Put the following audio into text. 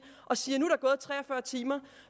og siger at nu er tre og fyrre timer